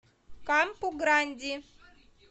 кампу гранди